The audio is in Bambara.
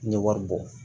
N ye wari bɔ